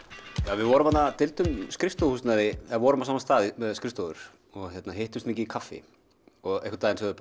við deildum skrifstofuhúsnæði og hittumst mikið í kaffi og einn daginn sögðum